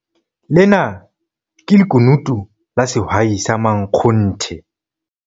Lena ke lekunutu la sehwai sa makgonthe!